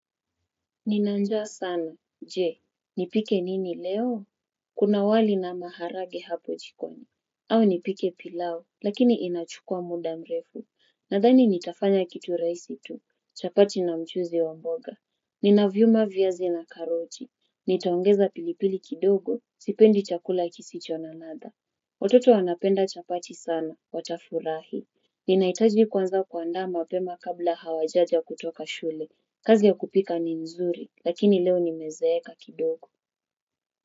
Nina njaa sana, je, nipike nini leo? Kuna wali na maharagwe hapo jikoni. Au nipike pilau, lakini inachukua muda mrefu. Nadhani nitafanya kitu rahisi tu, chapati na mchuzi wa mboga. Ninavyuma viazi na karoti. Nitaongeza pilipili kidogo, sipendi chakula ikisicho na ladha. Watoto wanapenda chapati sana, watafurahi. Ninahitaji kwanza kuandaa mapema kabla hawajaja kutoka shule. Kazi ya kupika ni nzuri, lakini leo nimezeeka kidogo.